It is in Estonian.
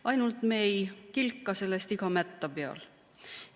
Ainult et me ei kilka sellest iga mätta peal.